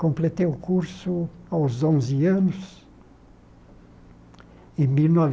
Completei o curso aos onze anos, em mil